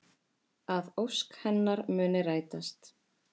Að ósk hennar muni rætast.